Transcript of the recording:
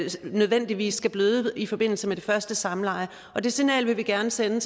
nødvendigvis bløder i forbindelse med det første samleje det signal vil vi gerne sende